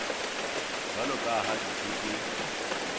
jwalo ka ha ditho tse